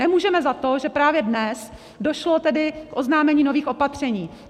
Nemůžeme za to, že právě dnes došlo tedy k oznámení nových opatření.